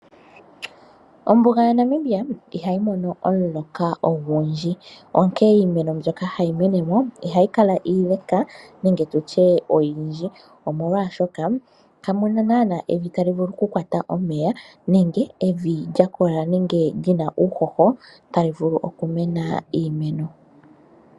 Ombuga yaNamibia ihayi mono omulokwa ogundji, onkene iimeno mbyoka hayi mene mo ihayi kala iile nenge oyindji, molwashoka kamu na naana evi tali vulu okukwata omeya nenge evi li na uuhoho tali vulu okumena iimeno.